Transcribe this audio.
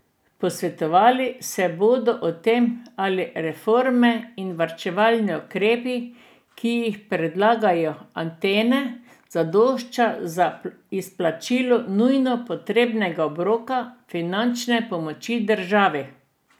Posvetovali se bodo o tem, ali reforme in varčevalni ukrepi, ki jih predlagajo Atene, zadoščajo za izplačilo nujno potrebnega obroka finančne pomoči državi.